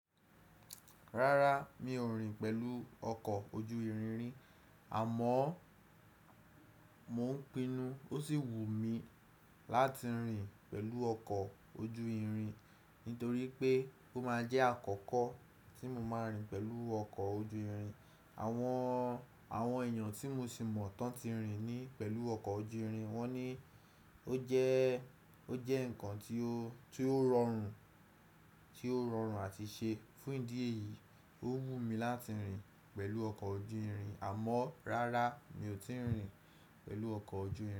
Rárá, mi ò rin pẹ̀lú ọkọ̀ ojú irin ri, àmọ́ mo ń pinnu ó sì wù mí láti rin pẹ̀lú ọkọ̀ ojú irin nítorí pé ó máa jẹ́ àkọ́kọ́ tí mo máa rin pẹ̀lú ọkọ̀ ojú irin. Àwọn, àwọn èèyàn tí mo sì mọ̀ tán ti rin ni pẹ̀lú ọkọ̀ ojú irin, wọ́n ní ó jẹ́, ó jẹ́ nǹkan tí ó, tí ó rọrùn, tí ó rọrùn àti ṣe. Fún ìdí èyí, ó wù mí láti rin pẹ̀lú ọkọ̀ ojú irin, àmọ́ rárá mi ò tíì rin pẹ̀lú ọkọ̀ ojú irin.